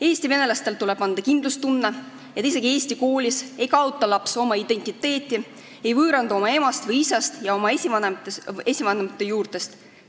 Eesti venelastele tuleb anda kindlustunne, et isegi eesti koolis ei kaota laps oma identiteeti, ei võõrandu oma emast või isast ja oma esivanemate juurtest.